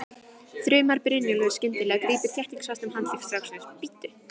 þrumar Brynjólfur skyndilega og grípur þéttingsfast um handlegg stráksins, bíddu!